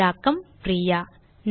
தமிழாக்கம் பிரியா